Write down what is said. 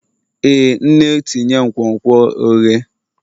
Ee nne tinye nkwonkwo oghe